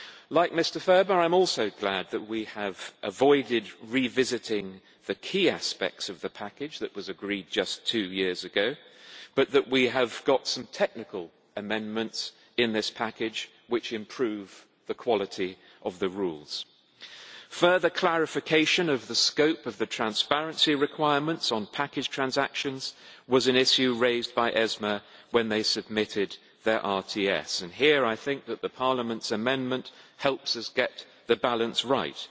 Like Mr Ferber, I am also glad that we have avoided revisiting the key aspects of the package that was agreed just two years ago, but that we have got some technical amendments in this package which improve the quality of the rules. Further clarification of the scope of the transparency requirements on package transactions was an issue raised by ESMA when they submitted their regulatory technical standards and here I think that Parliament's amendment helps us get the balance right.